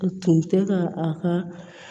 A tun tɛ ka a ka